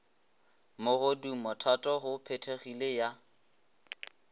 mogodumo thato go phethegile ya